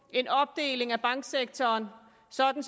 en opdeling af banksektoren sådan